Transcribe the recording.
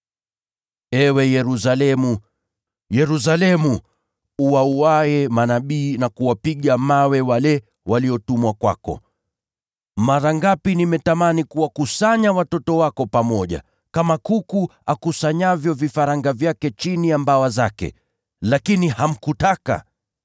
“Ee Yerusalemu, Yerusalemu, uwauaye manabii na kuwapiga mawe wale waliotumwa kwako! Mara ngapi nimetamani kuwakusanya watoto wako pamoja, kama vile kuku akusanyavyo vifaranga wake chini ya mabawa yake, lakini hukutaka!